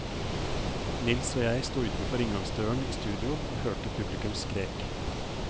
Nils og jeg sto utenfor inngangsdøren i studio og hørte publikum skrek.